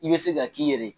I bɛ se ka k'i yɛrɛ ye